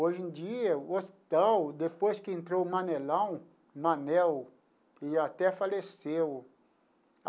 Hoje em dia, o hospital, depois que entrou o Manelão, Manel, e até faleceu.